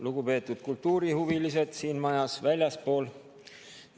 Lugupeetud kultuurihuvilised siin majas ja väljaspool seda!